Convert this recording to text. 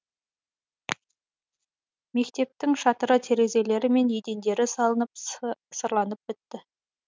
мектептің шатыры терезелері мен едендері салынып сырланып бітті